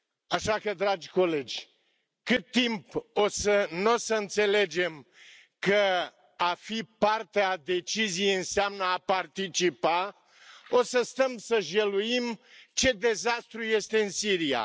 Așa că, dragi colegi, cât timp n o să înțelegem că a fi parte a deciziei înseamnă a participa, o să stăm să jeluim ce dezastru este în Siria.